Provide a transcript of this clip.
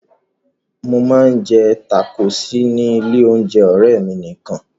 Mo máa ń jẹ tákóòsì ní ilé-oúnjẹ ọ̀rẹ́ mi nìkan.